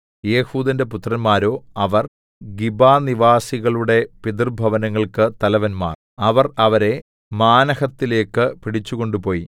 ഏഹൂദിന്റെ പുത്രന്മാരോഅവർ ഗിബനിവാസികളുടെ പിതൃഭവനങ്ങൾക്ക് തലവന്മാർ അവർ അവരെ മാനഹത്തിലേക്ക് പിടിച്ചുകൊണ്ടുപോയി